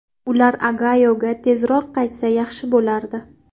Ular Ogayoga tezroq qaytsa yaxshi bo‘lardi.